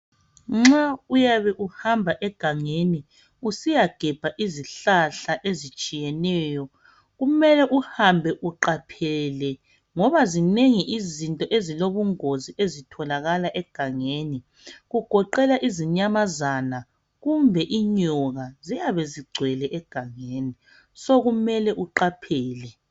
nxa uyabe uhamba egangeni usiya gebha izihlahla ezitshiyeneyo kumele uhambe uqaphele ngoba zinengi izinto ezilobungozi ezitholakala egangeni kugoqela izinyamazana kumbe inyoka ziyabe zigcwele egangeni so kumele uqaphele